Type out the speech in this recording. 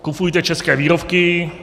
Kupujte české výrobky.